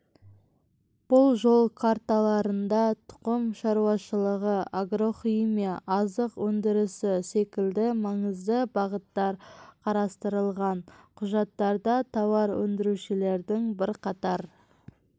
бұл жол карталарында тұқым шаруашылығы агрохимия азық өндірісі секілді маңызды бағыттар қарастырылған құжаттарда тауар өндірушілердің бірқатар